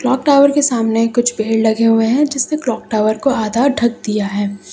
Clock tower के सामने कुछ पेड़ लगे हुए हैं जिसने क्लॉक टावर को आधा ढक दिया है।